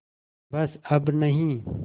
बस अब नहीं